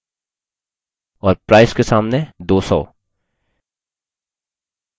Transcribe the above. और price के सामने 200